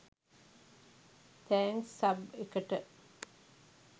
thanks සබ් එකට